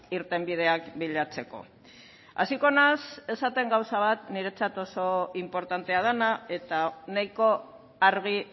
irtenbideak bilatzeko hasiko naiz esaten gauza bat niretzat oso inportantea dena eta nahiko argi